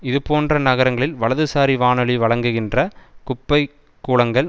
இதுபோன்ற நகங்களில் வலதுசாரி வானொலி வழங்குகின்ற குப்பை கூளங்கள்